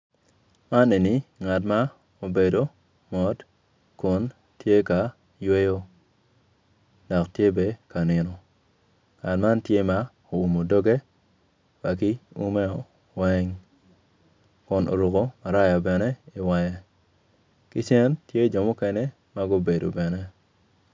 Man eni ngat mo ma obedo mot kun tye ka yweyo dok tye be ka nino ngat man tye ma oumu dogge wa ki umeo weng kun oruku maraya bene i wenge ki cen tye jo mukene ma gubedo bene